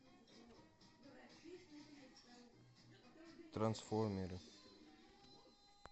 трансформеры